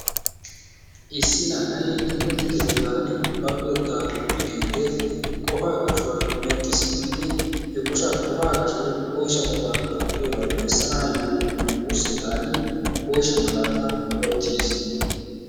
issi na''ay timirtte keettaani ba luxetta luxidi qofaa qashuwa medhdhi simmidi he qosha qofaa qashoy oysha qofaa qasho gidiyooga bessanaayo wurssetani oyshsha malaata woottiis.